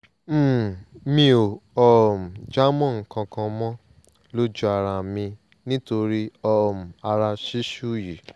um mi ò um jámọ́ nǹkan kan mọ́ lójú ara mi nítorí um ara ṣíṣú yìí